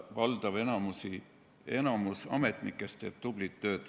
Valdav osa ametnikest teeb tublit tööd.